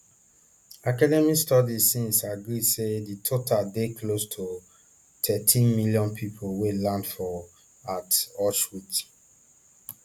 academic studies since agree say di total dey close to thirteen million pipo wey land for at auschwitz